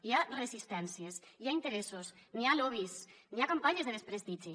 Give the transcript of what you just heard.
hi ha resistències hi ha interessos hi ha lobbys hi ha campanyes de desprestigi